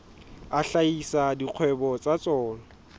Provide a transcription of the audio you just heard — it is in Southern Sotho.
a hlahisa dikgwebo tsa tsona